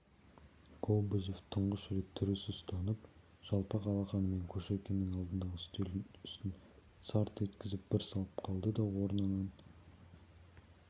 кобозев тұңғыш рет түрі сұстанып жалпақ алақанымен кушекиннің алдындағы үстелдің үстін сарт еткізіп бір салып қалды да орнынан